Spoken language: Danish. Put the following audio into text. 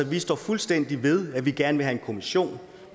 vi står fuldstændig ved at vi gerne vil have en kommission